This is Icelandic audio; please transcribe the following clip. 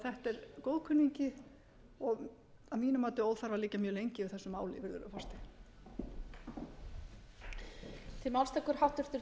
þetta er góðkunningi og að mínu mati óþarfi að liggja mjög lengi yfir þessu máli virðulegur forseti